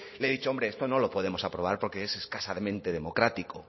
le he dicho hombre esto no lo podemos aprobar porque es escasamente democrático